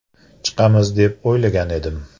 Chiqamiz deb o‘ylagan edim.